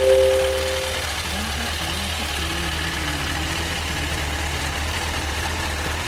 Don haka ma kuke yin wannan mummunar tambayar a yau.